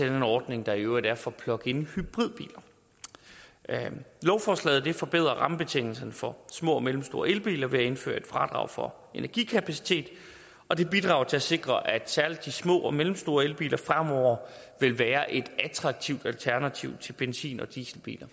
den ordning der i øvrigt er for pluginhybridbiler lovforslaget vil forbedre rammebetingelserne for små og mellemstore elbiler ved at der indføres et fradrag for energikapacitet og det bidrager til at sikre at særlig de små og mellemstore elbiler fremover vil være et attraktivt alternativ til benzin og dieselbiler